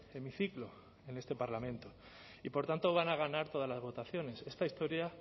hemiciclo en este parlamento y por tanto van a ganar todas las votaciones esta historia